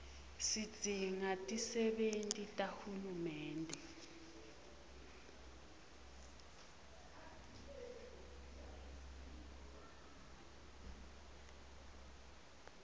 sidzinga tisebenti tahulumende